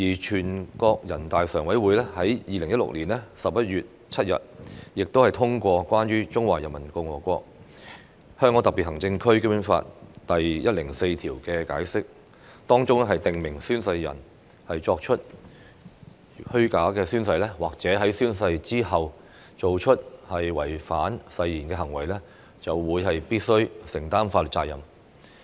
全國人民代表大會常務委員會在2016年11月7日通過《關於〈中華人民共和國香港特別行政區基本法〉第一百零四條的解釋》，當中訂明宣誓人作虛假宣誓或者在宣誓之後從事違反誓言行為的，依法承擔法律責任。